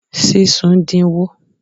Sísun din wo?